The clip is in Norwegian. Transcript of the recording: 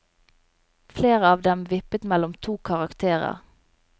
Flere av dem vippet mellom to karakterer.